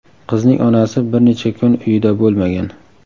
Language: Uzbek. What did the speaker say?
Qizning onasi bir necha kun uyida bo‘lmagan.